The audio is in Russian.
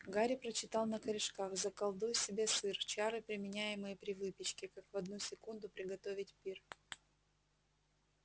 гарри прочитал на корешках заколдуй себе сыр чары применяемые при выпечке как в одну секунду приготовить пир